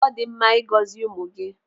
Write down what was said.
Ọ dị mma ị gọzi ụmụ gị.